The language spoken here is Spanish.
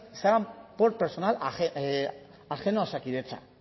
se hagan por personal ajeno a osakidetza